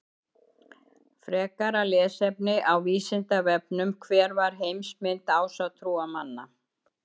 Frekara lesefni á Vísindavefnum: Hver var heimsmynd ásatrúarmanna?